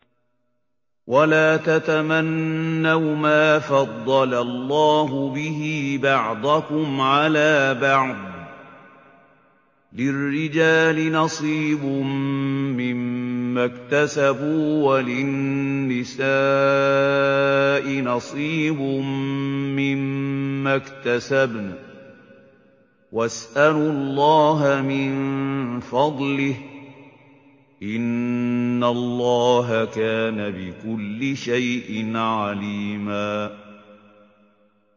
وَلَا تَتَمَنَّوْا مَا فَضَّلَ اللَّهُ بِهِ بَعْضَكُمْ عَلَىٰ بَعْضٍ ۚ لِّلرِّجَالِ نَصِيبٌ مِّمَّا اكْتَسَبُوا ۖ وَلِلنِّسَاءِ نَصِيبٌ مِّمَّا اكْتَسَبْنَ ۚ وَاسْأَلُوا اللَّهَ مِن فَضْلِهِ ۗ إِنَّ اللَّهَ كَانَ بِكُلِّ شَيْءٍ عَلِيمًا